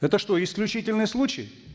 это что исключительный случай